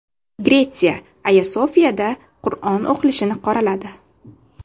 Gretsiya Ayo Sofiyada Qur’on o‘qilishini qoraladi.